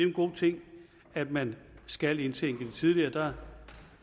en god ting at man skal indtænke det tidligere